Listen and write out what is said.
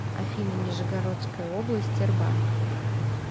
афина нижегородская область тербанк